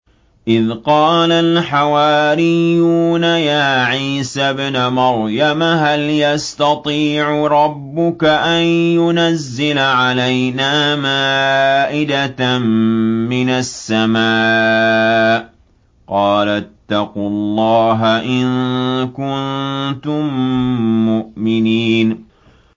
إِذْ قَالَ الْحَوَارِيُّونَ يَا عِيسَى ابْنَ مَرْيَمَ هَلْ يَسْتَطِيعُ رَبُّكَ أَن يُنَزِّلَ عَلَيْنَا مَائِدَةً مِّنَ السَّمَاءِ ۖ قَالَ اتَّقُوا اللَّهَ إِن كُنتُم مُّؤْمِنِينَ